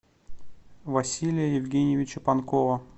василия евгеньевича панкова